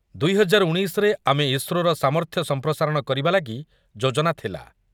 ଦୁଇ ହଜାର ଉଣେଇଶ ରେ ଆମେ ଇସ୍ରୋର ସାମର୍ଥ୍ୟ ସଂପ୍ରସାରଣ କରିବା ଲାଗି ଯୋଜନା ଥିଲା ।